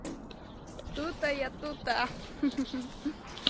тута я тута хе-хе